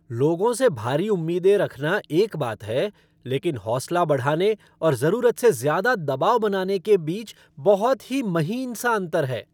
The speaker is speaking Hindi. लोगों से भारी उम्मीदें रखना एक बात है, लेकिन हौंसला बढ़ाने और ज़रूरत से ज़्यादा दबाव बनाने के बीच बहुत ही महीन सा अंतर है।